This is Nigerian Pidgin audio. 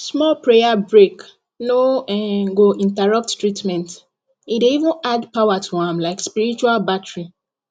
small prayer break no um go interrupt treatment e dey even add power to am like spiritual battery